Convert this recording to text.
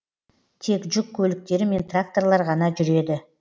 тек жүк көліктері мен тракторлар ғана жүреді